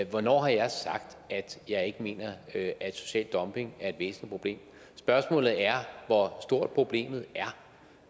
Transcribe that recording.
hvornår har jeg sagt at jeg ikke mener at social dumping er et problem spørgsmålet er hvor stort problemet